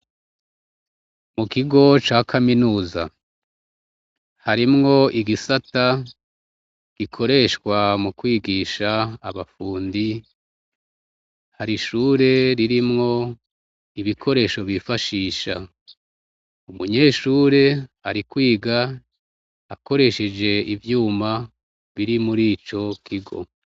Mukigo ca kaminuza harimwo igisata gikoreshwa mu kwigisha abafundi, hari ishure ririmwo ibikoresho bifashisha, umunyeshure ari kwiga akoresheje ivyuma biri muri icokigo.